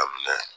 Ka minɛ